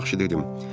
Yaxşı dedim.